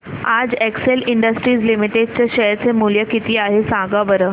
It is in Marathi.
आज एक्सेल इंडस्ट्रीज लिमिटेड चे शेअर चे मूल्य किती आहे सांगा बरं